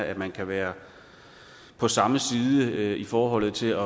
at man kan være på samme side i forhold til